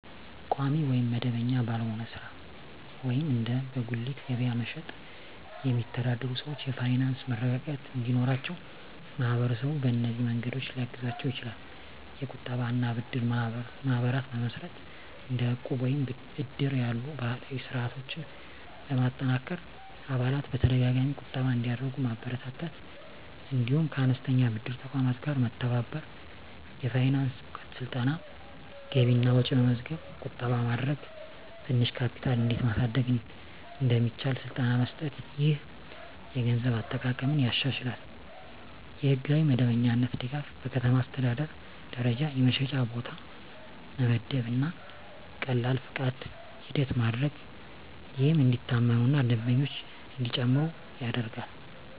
ቋሚ ወይም መደበኛ ባልሆነ ሥራ (እንደ በጉሊት ገበያ መሸጥ) የሚተዳደሩ ሰዎች የፋይናንስ መረጋጋት እንዲኖራቸው ማህበረሰቡ በእነዚህ መንገዶች ሊያግዛቸው ይችላል፦ የቁጠባ እና ብድር ማህበራት መመስረት – እንደ ዕቁብ ወይም እድር ያሉ ባህላዊ ስርዓቶችን በማጠናከር አባላት በተደጋጋሚ ቁጠባ እንዲያደርጉ ማበረታታት። እንዲሁም ከአነስተኛ ብድር ተቋማት ጋር መተባበር። የፋይናንስ እውቀት ስልጠና – ገቢና ወጪ መመዝገብ፣ ቁጠባ ማድረግ፣ ትንሽ ካፒታል እንዴት ማሳደግ እንደሚቻል ስልጠና መስጠት። ይህ የገንዘብ አጠቃቀምን ያሻሽላል። የሕጋዊ መደበኛነት ድጋፍ – በከተማ አስተዳደር ደረጃ የመሸጫ ቦታ መመደብ እና ቀላል ፈቃድ ሂደት ማድረግ፣ ይህም እንዲታመኑ እና ደንበኞች እንዲጨምሩ ይረዳል።